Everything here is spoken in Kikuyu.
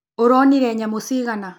ũronire nyamũ cigana?